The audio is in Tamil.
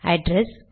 அட்ரெஸ்